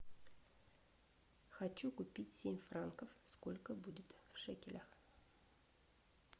хочу купить семь франков сколько будет в шекелях